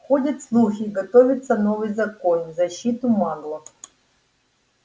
ходят слухи готовится новый закон в защиту маглов